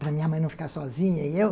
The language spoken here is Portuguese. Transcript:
para minha mãe não ficar sozinha e eu.